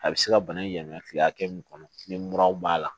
A bɛ se ka bana in yamaruya tile hakɛ min kɔnɔ tile muraw b'a la